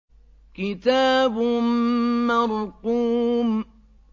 كِتَابٌ مَّرْقُومٌ